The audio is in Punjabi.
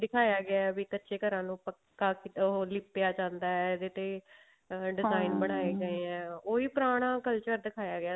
ਦਿਖਾਇਆ ਗਿਆ ਵੀ ਕੱਚੇ ਘਰਾਂ ਨੂੰ ਪੱਕਾ ਉਹ ਲਿਪਿਆ ਜਾਂਦਾ ਇਹਦੇ ਤੇ ਬਣਾਏ ਗਏ ਆ ਉਹੀ ਪੁਰਾਣਾ culture ਦਿਖਾਇਆ ਗਿਆ